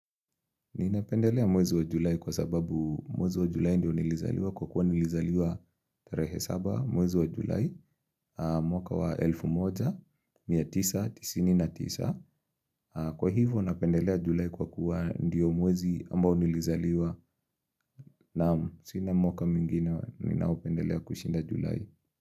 Ninapendelea mwezi wa julai kwa sababu mwezi wa julai ndio nilizaliwa kwa kuwa nilizaliwa 37 mwezi wa julai mwaka wa 1199 kwa hivyo napendelea julai kwa kuwa ndio mwezi ambao nilizaliwa naam sina mwaka mwingine ninaoupendelea kushinda julai.